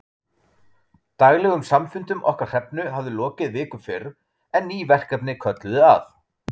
Daglegum samfundum okkar Hrefnu hafði lokið viku fyrr, en ný verkefni kölluðu að.